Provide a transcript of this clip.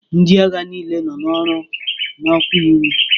Ndị agha niile nọ n'ọrụ nọkwa n'uwe.